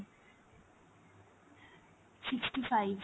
sixty five